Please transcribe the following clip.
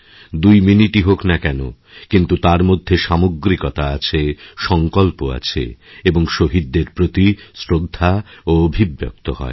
দুই মিনিটই হোক না কেনকিন্তু তার মধ্যে সামগ্রিকতা আছে সঙ্কল্প আছে এবং শহীদদের প্রতি শ্রদ্ধাওঅভিব্যক্ত হয়